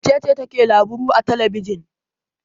Wace ce take labaru a talbijin?